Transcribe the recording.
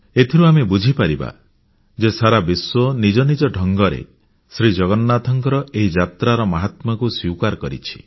ଏଥିରୁ ଆମେ ବୁଝିପାରିବା ଯେ ସାରା ବିଶ୍ୱ ନିଜ ନିଜ ଢଙ୍ଗରେ ଜଗନ୍ନାଥଙ୍କ ଏହି ଯାତ୍ରାର ମାହାତ୍ମ୍ୟକୁ ସ୍ୱୀକାର କରିଛି